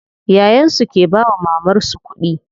Yayan su ke bawa mamar su kuɗi.